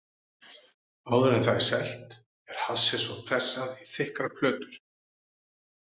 Áður en það er selt er hassið svo pressað í þykkar plötur.